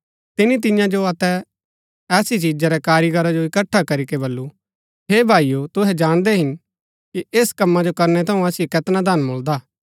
तिनी तियां जो अतै ऐसी चिजा रै कारीगीरा जो इकट्ठा करीके बल्लू हे भाईओ तुहै जाणदै हिन कि ऐस कम्मा जो करनै थऊँ असिओ कैतना धन मुळदा